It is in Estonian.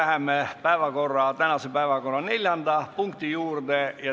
Nüüd läheme tänase päevakorra neljanda punkti juurde.